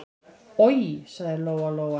Oj, sagði Lóa-Lóa.